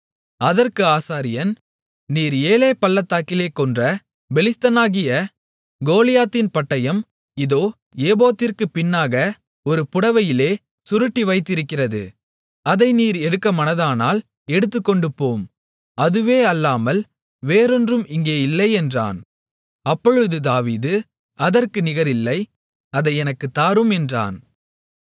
அதற்கு ஆசாரியன் நீர் ஏலே பள்ளத்தாக்கிலே கொன்ற பெலிஸ்தனாகிய கோலியாத்தின் பட்டயம் இதோ ஏபோத்திற்குப் பின்னாக ஒரு புடவையிலே சுருட்டி வைத்திருக்கிறது அதை நீர் எடுக்க மனதானால் எடுத்துக்கொண்டுபோம் அதுவே அல்லாமல் வேறொன்றும் இங்கே இல்லை என்றான் அப்பொழுது தாவீது அதற்கு நிகரில்லை அதை எனக்குத் தாரும் என்றான்